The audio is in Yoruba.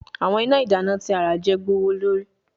Awọn ina idana ti a ra je gbowolori